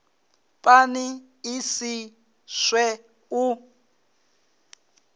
pani i si swe u